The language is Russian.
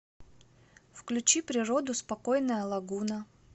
включи природу спокойная лагуна